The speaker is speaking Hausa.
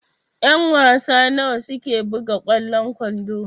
Ƴan-wasa nawa suke buga kwallon kwando?